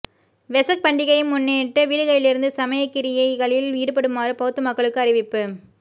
வெசக் பண்டிகையை முன்னிட்டு வீடுகளிலிருந்து சமயக்கிரியைகளில் ஈடுபடுமாறு பௌத்த மக்களுக்கு அறிவிப்பு